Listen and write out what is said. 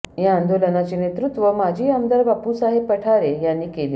या आंदोलनाचे नेतृत्व माजी आमदार बापूसाहेब पठारे यांनी केले